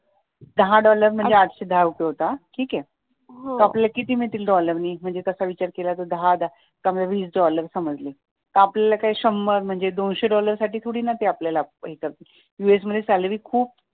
दहा dollar म्हणजे आठशे दहा रुपये होतात ठीक आहे मग आपल्याला किती मिळतील डॉलरनी म्हणजे आपण तास विचार केला तर दहा दहा वीस डॉलर समजले तर मग शंभर दोनशे डॉलर साठी ते आपल्याला थोडी ना हे करतील यूएस मध्ये सॅलरी खूप